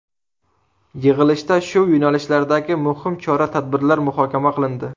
Yig‘ilishda shu yo‘nalishlardagi muhim chora-tadbirlar muhokama qilindi.